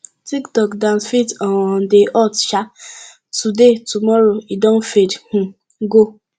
tic tok dance fit um dey hot um today tomorrow e don fade um go